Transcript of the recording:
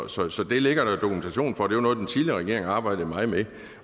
så så det ligger der dokumentation for det var noget den tidligere regering arbejdede meget med